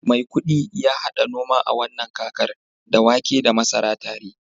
maikudi ya hada noma a wannan kakar, da wake da masara tare